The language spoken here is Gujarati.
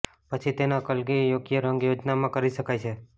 પછી તેના કલગી યોગ્ય રંગ યોજનામાં કરી શકાય છે